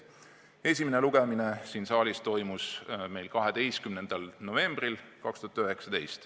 Esimene lugemine siin saalis toimus meil 12. novembril.